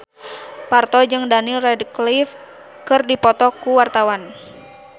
Parto jeung Daniel Radcliffe keur dipoto ku wartawan